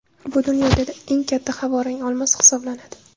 Bu dunyodagi eng katta havorang olmos hisoblanadi.